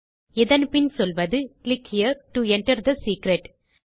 இதன் பின் சொல்வது click here to enter the secret